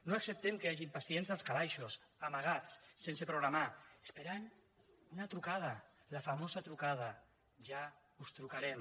no acceptem que hi hagin pacients als calaixos amagats sense programar esperant una trucada la famosa trucada ja us trucarem